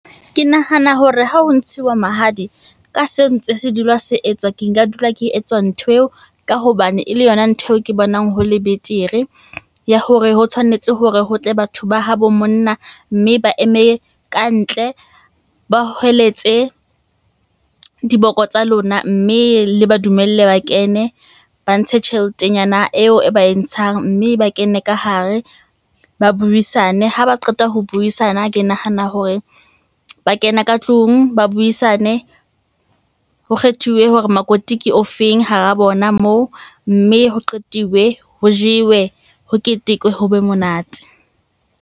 Ke nahana hore ha ho ntshiwa mahadi ka seo ntse se dula se etswa, ke nka dula ke etswa ntho eo ka hobane e le yona ntho eo ke bonang ho le betere. Ya hore ho tshwanetse hore ho tle batho ba habo monna mme ba eme kantle, ba hweletse diboko tsa lona. Mme le ba dumelle ba kene, ba ntshe tjheletenyana eo e ba e ntshang mme ba kene ka hare ba buisane. Ha ba qeta ho buisana, ke nahana hore ba kena ka tlung ba buisane, ho kgethiwe hore makoti ke ofeng hara bona moo? Mme ho qetiwe, ho jewe, ho ketekwe, ho be monate.